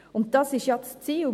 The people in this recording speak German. Und das ist ja das Ziel.